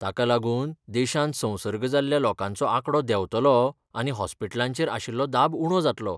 ताका लागून देशांत संसर्ग जाल्ल्या लोकांचो आंकडो देंवतलो आनी हॉस्पिटलांचेर आशिल्लो दाब उणो जातलो.